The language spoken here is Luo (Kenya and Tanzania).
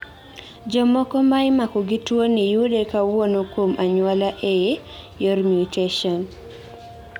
jomoko ma imako gi tuoni yude kawuok kuom anyuola eee yor mutation